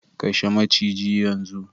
Kashe maciji yanzu!